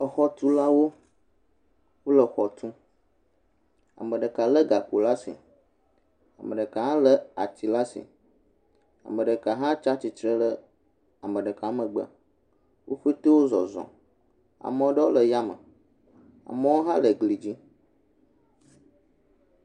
Exɔtulawo wo le exɔ tum. Ame ɖeka l gakpo ɖe asi, ame ɖeka hã le ati ɖe asi, ame ɖeka hã tsi atsitre ɖe ame ɖeka megbe. Wo pɛte wo zɔzɔm. ame aɖewo le yame, amewo hã le gli dzi.